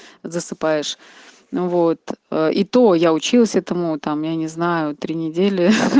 засыпаешь ну вот и то я учился этому там я не знаю три недели